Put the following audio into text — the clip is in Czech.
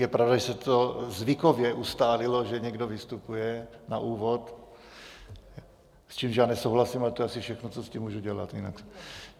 Je pravda, že se to zvykově ustálilo, že někdo vystupuje na úvod, s čímž já nesouhlasím, ale to je asi všechno, co s tím můžu dělat.